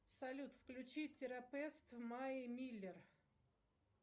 салют включи терапевт в мае миллер